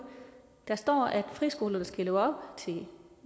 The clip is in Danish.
der står at friskolerne skal leve op til